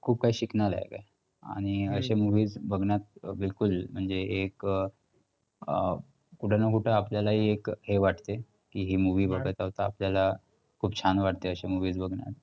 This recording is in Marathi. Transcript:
खूप काही शिकण्यालायक आहे. आणि अशे movie बघण्यात बिलकुल म्हणजे हे एक अं कुठं ना कुठं आपल्यालाही एक हे वाटते की ही movie असतं आपल्याला खूप छान वाटते अशे movies बघणं.